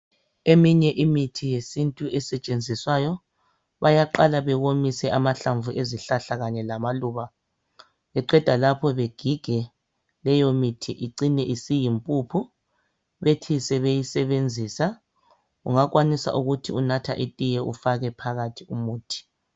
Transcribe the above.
Eminye imithi yesintu esetshenziswa bayqala bewomise amahlamvu awezihlahla kanye lama luba beqeda lapho begige kucine kusiba yimpuphu bethi sebeyisebenzisa ungakwanisa ukuthi unatha itiye ufake phakathi umuthi